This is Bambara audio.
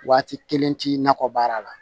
Waati kelen ti nakɔ baara la